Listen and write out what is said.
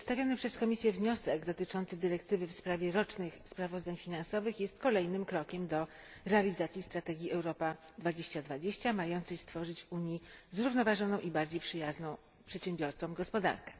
Przedstawiony przez Komisję wniosek dotyczący dyrektywy w sprawie rocznych sprawozdań finansowych jest kolejnym krokiem do realizacji strategii Europa 2020 mającej stworzyć w Unii zrównoważoną i bardziej przyjazną przedsiębiorcom gospodarkę.